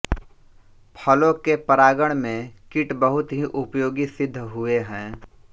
फलों के परागण में कीट बहुत ही उपयोगी सिद्ध हुए हैं